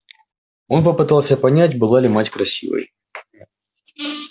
он попытался понять была ли мать красивой